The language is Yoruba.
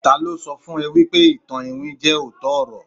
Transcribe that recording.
talo so fun e wipe ìtàn iwin je ootọ ọrọ